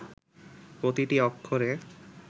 প্রতিটি অক্ষরে